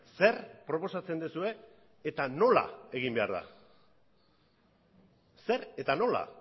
zer proposatzen duzue eta nola egin behar da zer eta nola